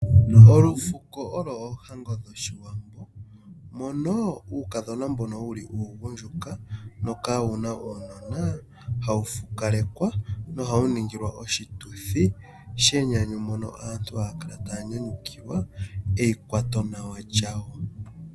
Olufuko olo oohango dhoshiwambo, mono uukadhona mbono wuli uugundjuka noka wuna uunona hawu fukalekwa nohawu ningilwa oshituthi shenyanyu mpono aantu haya kala ta ya nyanyukilwa eikwatonawa lyawo.